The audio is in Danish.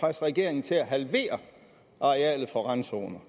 presse regeringen til at halvere arealet for randzoner